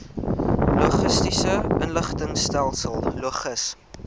logistiese inligtingstelsel logis